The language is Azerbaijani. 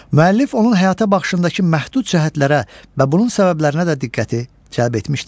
Müəllif onun həyata baxışındakı məhdud cəhətlərə və bunun səbəblərinə də diqqəti cəlb etmişdir.